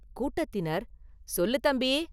கூட்டத்தினர், “சொல்லு, தம்பி!